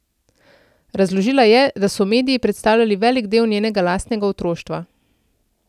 Razložila je, da so mediji predstavljali velik del njenega lastnega otroštva.